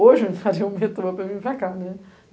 Hoje eu faria o metrô para vir para cá.